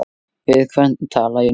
Við hvern tala ég núna?